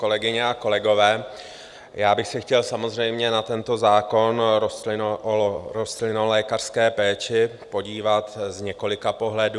Kolegyně a kolegové, já bych se chtěl samozřejmě na tento zákon o rostlinolékařské péči podívat z několika pohledů.